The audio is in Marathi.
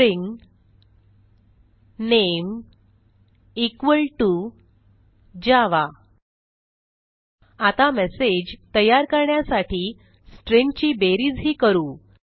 string name equal to Java आता मेसेज तयार करण्यासाठी स्ट्रिंग्ज ची बेरीजही करू